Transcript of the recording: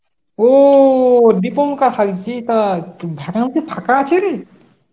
ও, দীপঙ্কর হাইজি তা ফাঁকা আছে রে?